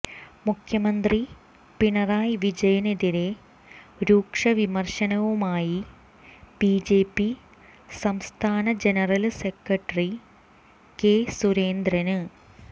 മുഖ്യമന്ത്രി പിണറായി വിജയനെതിരെ രൂക്ഷ വിമർശനവുമായി ബിജെപി സംസ്ഥാന ജനറല് സെക്രട്ടറി കെ സുരേന്ദ്രന്